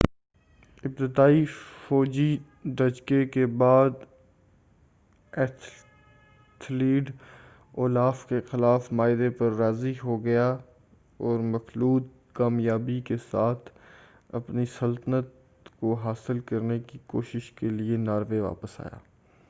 ابتدائی فوجی دھچکے کے بعد ایتھلیڈ اولاف کے ساتھ معاہدے پر راضی ہو گیا جو مخلوط کامیابی کے ساتھ اپنی سلطنت کو حاصل کرنے کی کوشش کے لئے ناروے واپس آیا